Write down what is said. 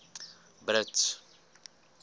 brits